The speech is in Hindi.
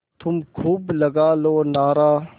तुम खूब लगा लो नारा